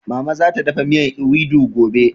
Mama zata dafa miyan ewedu gobe